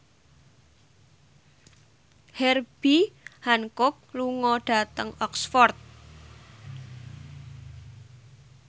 Herbie Hancock lunga dhateng Oxford